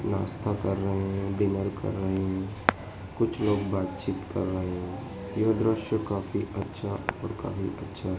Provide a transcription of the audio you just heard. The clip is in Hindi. नाश्ता कर रहे हैं डिनर कर रहे हैं कुछ लोग बातचीत कर रहे हैं यह दृश्य काफी अच्छा और काफी अच्छा --